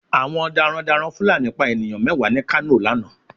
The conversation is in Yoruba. Àwọn daran daran Fulani pa ènìyàn mẹ́wàá ni kano lánàá